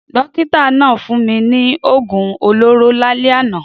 Dókítà náà fún mi ní oògùn olóró lálẹ́ àná.